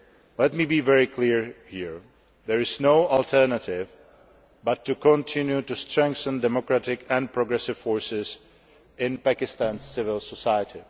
Let me be very clear here there is no alternative but to continue to strengthen democratic and progressive forces in Pakistan's civil society.